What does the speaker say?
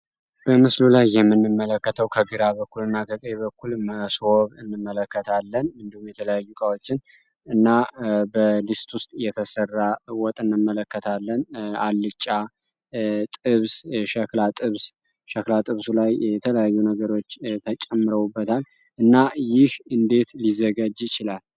በምስሉ ላይ የምንመለከተው ከግራ በኩል በኩል እንመለከታለን አልጫ እናመለከታለን የተለያዩ ነገሮች ተጨምሮ እና እንዴት ሊዘጋጅ ይችላል?